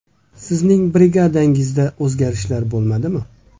Sizning brigadangizda o‘zgarishlar bo‘lmadimi?